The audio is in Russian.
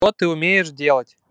то ты умеешь делать